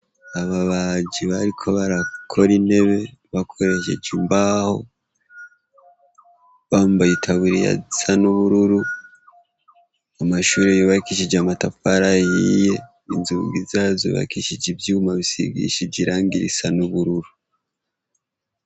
Ababaji bariko barakora intebe bakoresheje imbaho. Bambaye itaburiya zisa n'ubururu. Amashuri yubakishije amatafara ahiye, inzungi zazo zubakishije ivyuma bisigishije irangi risa n' ubururu.